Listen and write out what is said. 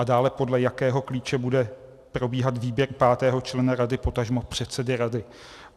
A dále, podle jakého klíče bude probíhat výběr pátého člena rady, potažmo předsedy rady?